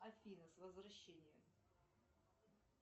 афина с возвращением